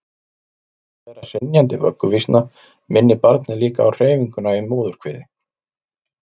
talið er að hrynjandi vögguvísna minni barnið líka á hreyfinguna í móðurkviði